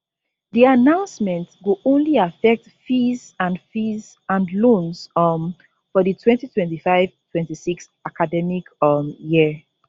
di announcement go only affect fees and fees and loans um for di twenty twenty five/ twenty-six academic um year